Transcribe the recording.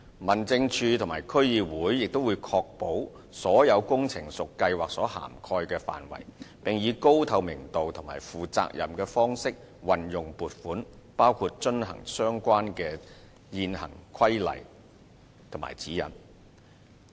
民政事務處和區議會也會確保所有工程屬計劃所涵蓋的範圍，並以高透明度及負責任的方式運用撥款，包括遵行相關的現行規例和指引。